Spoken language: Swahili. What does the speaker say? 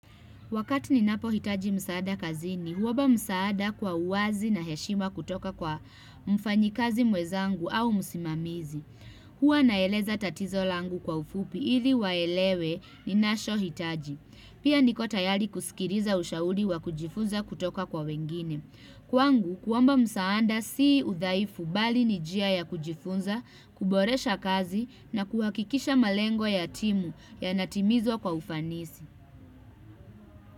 Wakati ninapohitaji msaada kazini, huomba msaada kwa uwazi na heshima kutoka kwa mfanyikazi mwezaangu au msimamizi. Huwa naeleza tatizo langu kwa ufupi ili waelewe ninashohitaji. Pia niko tayari kusikiriza ushauli wa kujifunza kutoka kwa wengine. Kwangu, kuomba msaada sii udhaifu bali ni njia ya kujifunza, kuboresha kazi na kuhakikisha malengo ya timu yanatimizwa kwa ufanisi.